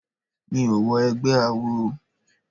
Mi ò wọ egbẹ́ awo.